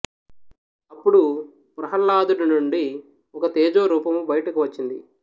అప్పుడు ప్రహ్లాదుడి నుండి ఒక తేజో రూపము బయటకు వచ్చింది